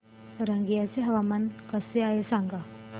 रंगिया चे हवामान कसे आहे सांगा